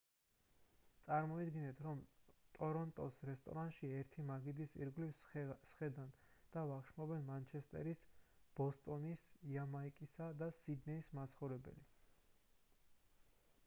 წარმოიდგინეთ რომ ტორონტოს რესტორანში ერთი მაგიდის ირგვლივ სხედან და ვახშმობენ მანჩესტერის ბოსტონის იამაიკისა და სიდნეის მაცხოვრებელი